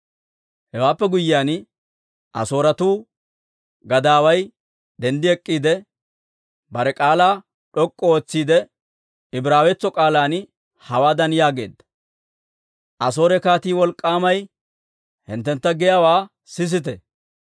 Hewaappe guyyiyaan, Asooretuu gadaaway denddi ek'k'iide, bare k'aalaa d'ok'k'u ootsiide, Ibraawetso k'aalan hawaadan yaageedda; «Asoore kaatii wolk'k'aamay hinttentta giyaawaa sisite!